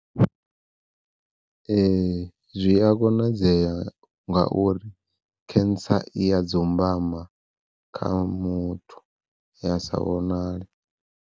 Ee zwi a konadzea ngauri cancer i ya dzumbama kha muthu ya sa vhonale.